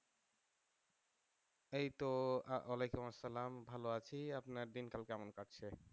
এই তো ওয়ালাইকুম আসসালাম ভালো আছি আপনার দিনকাল কেমন কাটছে?